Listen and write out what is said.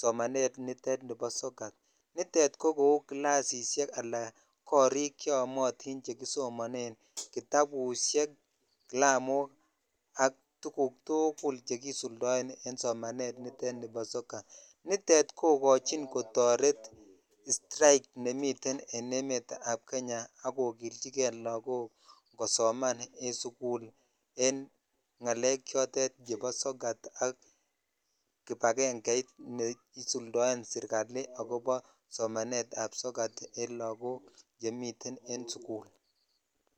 somanet nitet nibo sokat, nitet ko kou kilsishek alaa korik cheyomotin chekisomonen, kitabushek, kilamok ak tukuk tukul chekisuldoen en somanet nitet nibo sokat, nitet kokochin kotoret strike nemiten en emetab Kenya ak kokilchike lokok kosoman en sukul en ng'alek chotet chebo sokat ak kibakeng'eit neisuldoen sirkali akobo somanetab sokat en lokok chemiten en sukul.